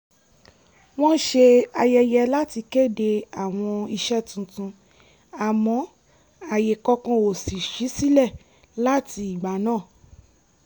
wọ́n ṣe àyẹyẹ láti kéde àwọn iṣẹ́ tuntun àmọ́ àyè kankan ò ṣí sílẹ̀ láti ìgbà náà